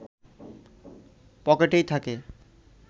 পকেটেই থাকে